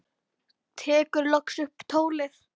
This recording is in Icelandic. Tekur loksins upp tólið.